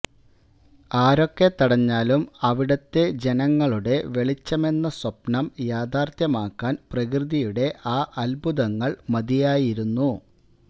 ആരൊക്കെ തടഞ്ഞാലും അവിടുത്തെ ജനങ്ങളുടെ വെളിച്ചമെന്ന സ്വപ്നം യാഥാര്ത്ഥ്യമാക്കാന് പ്രകൃതിയുടെ ആ അത്ഭുതങ്ങള് മതിയായിരുന്നു